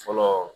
Fɔlɔ